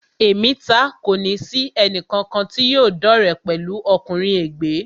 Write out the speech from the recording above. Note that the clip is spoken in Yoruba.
Èmi taá kòní sì ẹnì kankan tí yóò dọ́re pẹ̀lú ọkùnrin ègbé